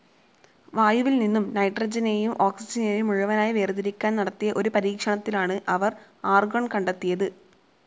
വായുവിൽ നിന്നും നൈട്രജനെയും ഓക്സിജനെയും മുഴുവനായി വേർതിരിക്കാൻ നടത്തിയ ഒരു പരീക്ഷണത്തിലാണ് അവർ ആർഗോൺ കണ്ടെത്തിയത്.